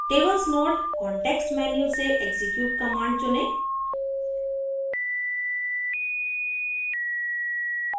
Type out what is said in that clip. tables node context menu से execute command चुनें